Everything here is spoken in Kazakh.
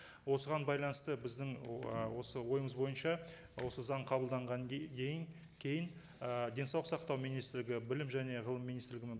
осыған байланысты біздің осы ойымыз бойынша осы заң қабылданған кейін ы денсаулық сақтау министрлігі білім және ғылым министрлігімен